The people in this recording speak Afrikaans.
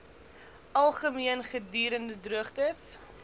algemeen gedurende droogtes